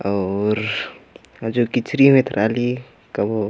अऊर जो कीचरिम एथरा ली कभो --